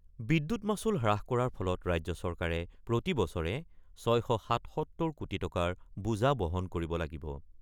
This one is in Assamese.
বিদ্যুৎ মাচুল হ্ৰাস কৰাৰ ফলত ৰাজ্য চৰকাৰে প্ৰতিবছৰে ৬৭৭ কোটি টকাৰ বোজা বহন কৰিব লাগিব।